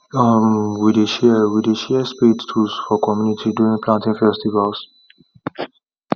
um we dey share we dey share spade tools for community during planting festivals